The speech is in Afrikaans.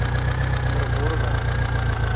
verworwe